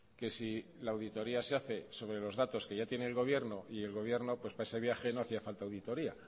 que si la auditoría se hace sobre los datos que ya tiene el gobierno y el gobierno para ese viaje no hacía falta auditoría